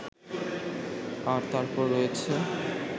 আর তারপর রয়েছে